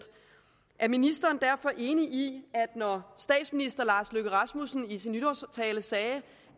er ministeren derfor enig i at når statsministeren i sin nytårstale sagde